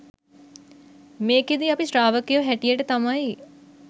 මේකෙදි අපි ශ්‍රාවකයො හැටියට තමයි